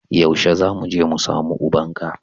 Yaushe zamu je mu samu ubanka